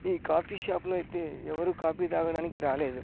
ఈ coffee shop లో ఐతే ఎవరు కాపీ తాగడానికి రాలేదు.